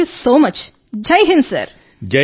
thank you so much Jai Hind sir